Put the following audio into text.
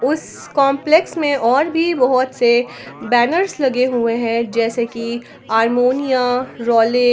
उस कंम्प्लेक्स में और भी बहुत से बैनर्स लगे हुए हैं जैस कि अरमोनिया रॉलिक ।